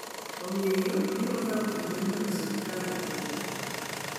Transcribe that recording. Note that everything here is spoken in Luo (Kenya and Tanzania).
Omiyo, biro kawo kinde mondo sirkal opwodhe.